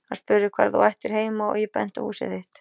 Hann spurði hvar þú ættir heima og ég benti á húsið þitt.